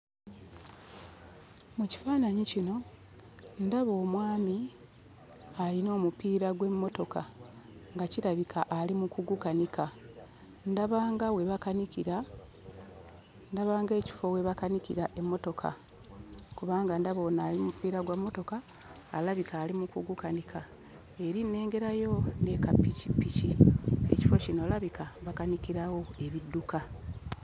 Mu kifaananyi kino ndaba omwami ayina omupiira gw'emmotoka nga kirabika ali mu kugukanika. Ndaba nga we bakanikira ndaba ng'ekifo we bakanikira emmotoka kubanga ndaba ono ali mu mupiira gw'emmotoka alabika ali mu kugukanika. Eri nnengereyo ne kappikipiki; ekifo kino walabika bakanikirawo ebidduka.